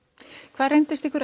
hvað reyndist ykkur